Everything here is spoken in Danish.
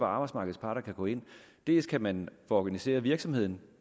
arbejdsmarkedets parter gå ind dels kan man få organiseret virksomheden